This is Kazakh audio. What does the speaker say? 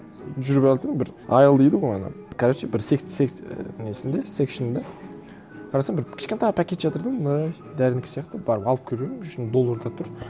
жүк алдым бір айэл дейді ғой оны короче бір несінде секшэнында қарасам бір кішкентай пакет жатыр да мә дәрінікі сияқты барып алып келіп жүрмін ішінде долларлар тұр